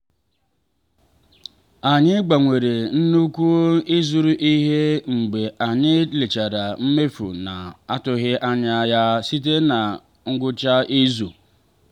anyị gbanwere nnukwu ịzụrụ ihe mgbe anyị lechara mmefu na-atụghị anya ya site na ngwụcha izu